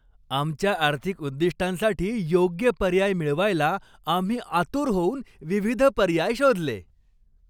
आमच्या आर्थिक उद्दिष्टांसाठी योग्य पर्याय मिळवायला आम्ही आतुर होऊन विविध पर्याय शोधले.